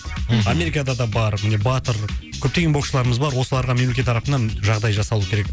мхм америкада да бар міне батыр көптеген боксшыларымыз бар осыларға мемлекет тарапынан жағдай жасалуы керек